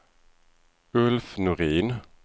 Ulf Norin